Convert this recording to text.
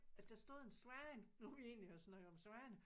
At der stod en svane nu vi egentlig har snakket om svaner